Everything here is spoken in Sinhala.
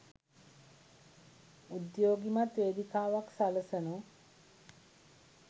උදේ‍යා්ගිමත් වේදිකාවක් සලසනු